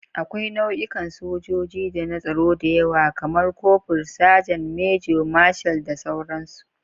Akwai nau'ikan sojoji da na tsaro da yawa, kamar kofur, sajan, manjo, marshal, da sauransu.